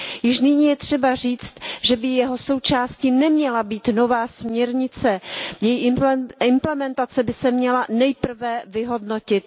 Již nyní je třeba říct, že by jeho součástí neměla být nová směrnice, její implementace by se měla nejprve vyhodnotit.